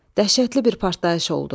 Dəhşətli bir partlayış oldu.